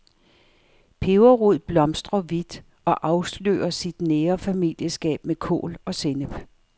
Peberrod blomstrer hvidt, og afslører sit nære familieskab med kål og sennep.